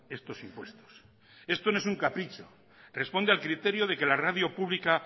estos impuestos esto no es un capricho responde al criterio de que la radio pública